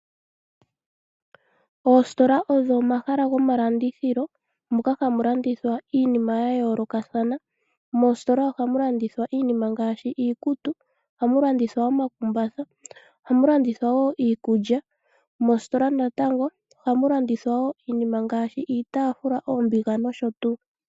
Oositola odho omahala gomalandithilo moka hamu landithwa iinima ya yoolokathana. Moositola ohamu landithwa iinima ngaashi iikutu, ohamu landithwa omakumbatha, ohamu landithwa wo iikulya. Moositola wo ohamu landithwa iinima ngaashi iitaafula, oombiga nosho tuu.